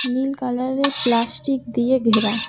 নীল কালারের প্লাস্টিক দিয়ে ঘেরা।